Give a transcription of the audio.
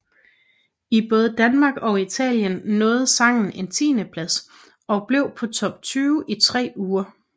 I både Danmark og Italien nåede sangen en tiendeplads og blev på Top 20 i tre uger